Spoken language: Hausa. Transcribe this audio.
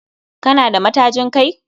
Kana da matajin Kai?